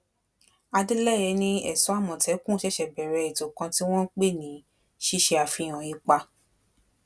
adeleye ni èso àmọtẹkùn ṣẹṣẹ bẹrẹ ètò kan tí wọn pè ní ṣíṣe àfihàn ipa